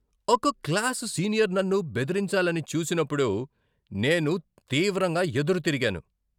ఒక class senior నన్ను బెదిరించాలని చూసినప్పుడు నేను తీవ్రంగా ఎదురుతిరిగాను.